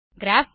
graph